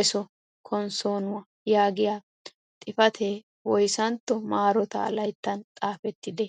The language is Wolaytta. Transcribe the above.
eeso konssonuwaa" yaagiyaa xifatee woyssantto marotaa layttaan xafettidee?